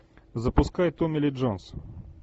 запускай томми ли джонс